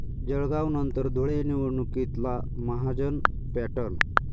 जळगावनंतर धुळे, निवडणुकीतला 'महाजन पॅटर्न'